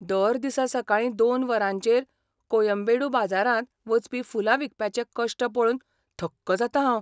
दर दिसा सकाळीं दोन वरांचेर कोयम्बेडू बाजारांत वचपी फुलां विकप्यांचे कश्ट पळोवन थक्क जातां हांव.